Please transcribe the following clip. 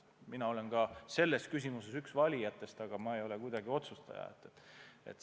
Mina olen selles küsimuses üks valijatest, aga ma ei ole kuidagi otsustaja.